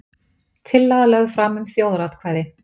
Tillaga lögð fram um þjóðaratkvæði